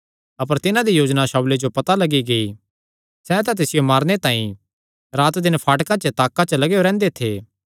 अपर तिन्हां दी योजना शाऊले जो पता लग्गी गेई सैह़ तां तिसियो मारने तांई रात दिन फाटकां पर ताक्का च लगेयो रैंह्दे थे